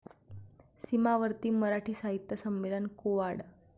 सीमावर्ती मराठी साहित्य संमेलन कोवाड